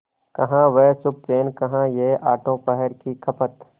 कहाँ वह सुखचैन कहाँ यह आठों पहर की खपत